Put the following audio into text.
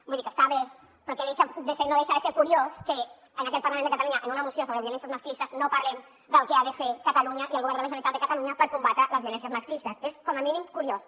vull dir que està bé però que no deixa de ser curiós que en aquest parlament de catalunya en una moció sobre violències masclistes no parlem del que han de fer catalunya i el govern de la generalitat de catalunya per combatre les violències masclistes és com a mínim curiós